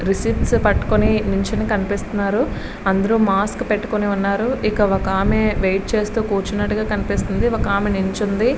Receipts పట్టుకొని కనిపిస్తున్నారు అందరూ మాస్కులు పెట్టుకొని ఉన్నారు ఇక్కడ ఒక ఆమె వెయిట్ చేస్తున్నట్టు గా కనిపిస్తుంది ఇక్కడ ఒక ఆమె నిల్చుని ఉంది.